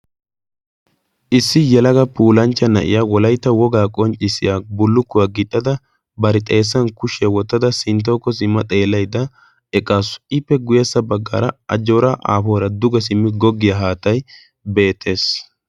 issi yalaga pulanchcha na'iya wolaytta wogaa qonccissiya bulukkuwaa gixxada bari xeessan kushiyaa wottada sinttooko simma xeellaidda eqaasu iippe guyassa baggaara ajjoora aafuwaara duga simmi goggiyaa haattai beettees.